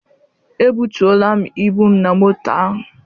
Ebutuola m ibu m na moto ahụ.